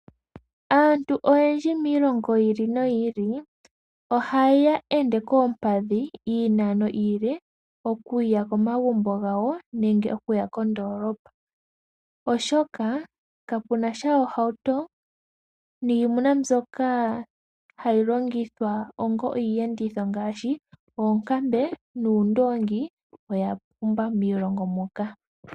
Aantu oyendji miilongo yiili no yiili ohaya ende koompadhi iinano iile okuya komagumbo gawo nenge okuya kondoolopa oshoka kapunasha oohauto, niimuna mbyoka hayi longithwa iiyenditho ngaashi, oonkambe nuundongi oya pumba miilongo moka.